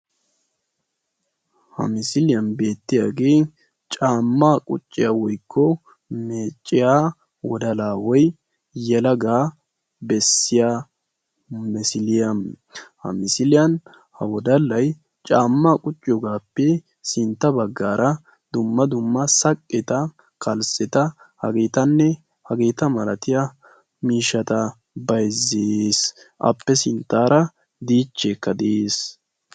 Ha misiliyan beettiyagee caammaa qucciya woyikko meecciya wodalla woy yelagaa bessiya misiliya. Ha misiliyan ha wodallay caammaa qucciyogaappe sintta baggaara dumma dumma saqqeta, kalsseta hageetanne hageeta malatiya miishshata bayizzees. Appe sinttaara diichcheekka de'ees.